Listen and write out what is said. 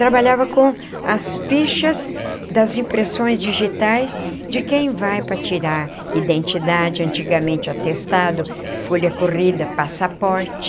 Trabalhava com as fichas das impressões digitais de quem vai para tirar identidade, antigamente o atestado, folha corrida, passaporte.